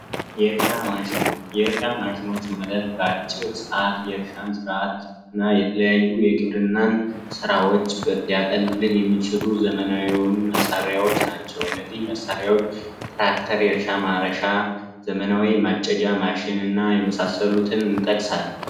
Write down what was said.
የእርሻ ማሸኖች የእርሻ ማሸኖች ማለት በአጭር ሰአት የግብርና ስራንና የተለያዩ የእርሻ ስራዎችን ሊያቀሉልን የሚችሉ ዘመናዊ የሆኑ መሣሪያዎች ናቸው እነዚህ መሳሪያዎች ትራክተር እርሻ ማረሻ ዘመናዊ ማጨጃ ማሽን እና የመሳሰሉትን እንጠቅሳለን።